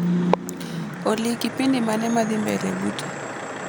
Olly kipindi mane madhii mbele buta